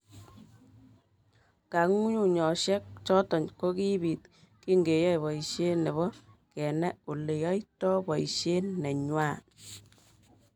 kangunyngunyoshek choto kokibiit kingeyoei boishet nebo kenai oleyaitoi boishet nengwai